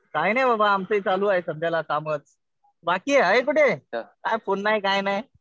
काही नाही बाबा. आमचंही चालू आहे सध्याला कामच. बाकी आहे कुठे? काय फोन नाही काही नाही.